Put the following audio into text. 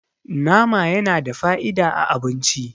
nama yana da fa'ida a abinci